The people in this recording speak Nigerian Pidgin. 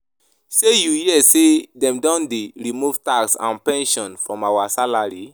Shey you hear say dem don dey remove tax and pension from our salary?